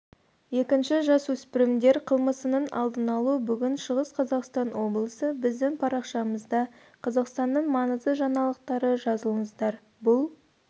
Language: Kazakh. екіншісі жасөспірімдер қылмысының алдын алу бүгін шығыс қазақстан облысы біздің парақшамызда қазақстанның маңызды жаңалықтары жазылыңыздар бұл